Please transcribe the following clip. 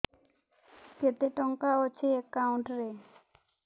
କେତେ ଟଙ୍କା ଅଛି ଏକାଉଣ୍ଟ୍ ରେ